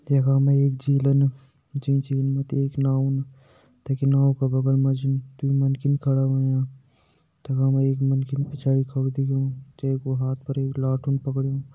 यखम एक झीलम जे झील मति एक नाओ दिख्येणू वे का बगल माजी दुइ मनकी खड़ा हुयां ताखा में एक मनकी पिछाड़ी खड़ा दिखयूं जेकु हात पर एक लाटू पकडयूं।